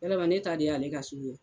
walama ne ta de y'ale ka so ye